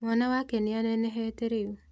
Mwana wake nĩanenehete rĩu